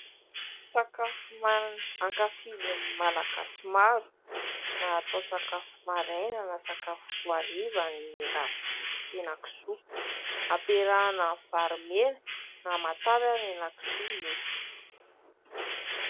Sakafo hoanina ankafizin'ny Malagasy maro na atao sakafo maraina na sakafo hariva ny ravitoto sy hena-kisoa. Ampiarahana amin'ny vary mena na matavy ary ny hena-kisoa mety.